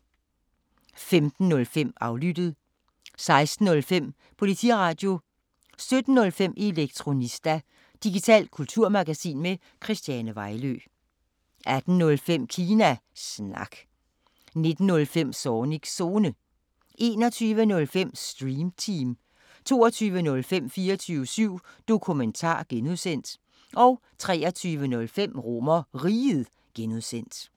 15:05: Aflyttet 16:05: Politiradio 17:05: Elektronista – digitalt kulturmagasin med Christiane Vejlø 18:05: Kina Snak 19:05: Zornigs Zone 21:05: Stream Team 22:05: 24syv Dokumentar (G) 23:05: RomerRiget (G)